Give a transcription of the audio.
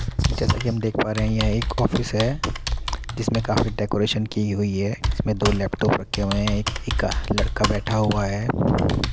जैसा कि हम देख पा रहे हैं यह एक ऑफिस है जिसमें काफी डेकोरेशन की हुई है। इसमें दो लैपटॉप रखे हुए हैं। एक एक्का लड़का बैठा हुआ है।